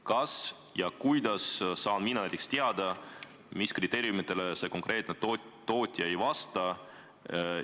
Kas ja kuidas saan mina näiteks teada, mis kriteeriumitele see konkreetne tootja ei vasta?